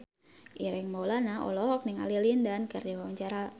Ireng Maulana olohok ningali Lin Dan keur diwawancara